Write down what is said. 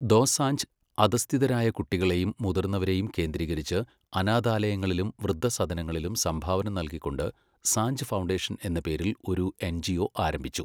ദോസാഞ്ച് അധഃസ്ഥിതരായ കുട്ടികളെയും മുതിർന്നവരെയും കേന്ദ്രീകരിച്ച് അനാഥാലയങ്ങളിലും വൃദ്ധസദനങ്ങളിലും സംഭാവന നൽകിക്കൊണ്ട് സാഞ്ച് ഫൗണ്ടേഷൻ എന്ന പേരിൽ ഒരു എൻജിഒ ആരംഭിച്ചു.